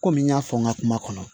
Komi n y'a fɔ n ka kuma kɔnɔ